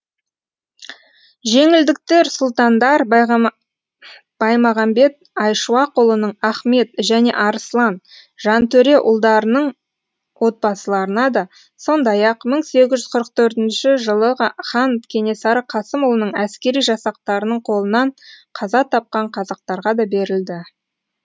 жеңілдіктер сұлтандар баймағамбет айшуақұлының ахмет және арыслан жантөре ұлдарының отбасыларына да сондай ақ мың сегіз жүз қырық төртінші жылы хан кенесары қасымұлының әскери жасақтарының қолынан қаза тапқан қазақтарға да берілді